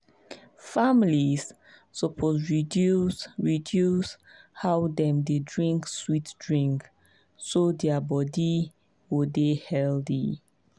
families suppose reduce reduce how dem dey drink sweet drink so their body go dey healthy.